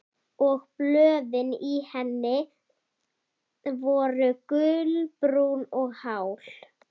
Og blöðin í henni voru gulbrún og hál.